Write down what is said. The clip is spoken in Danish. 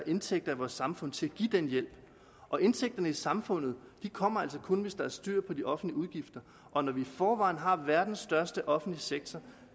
indtægter i vores samfund til at give den hjælp og indtægterne i samfundet kommer altså kun hvis der er styr på de offentlige udgifter og når vi i forvejen har verdens største offentlige sektor